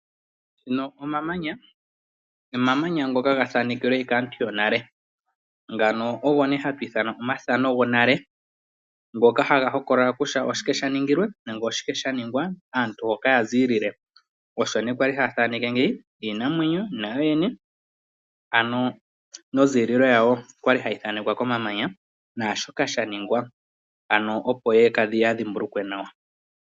Omamanya ga thanekelwe kaantu yonale ngano ogo nee hatu ithana omathano gwonale ngoka haga hokolola oshike sha ningilwe naashoka sha ningwa nonzililo . Aantu osho kwa li haya thaneke ngeyi iinamwenyo nayo yene, onzililo naashoka sha ningilwe opo ya dhimbulukwe nawa.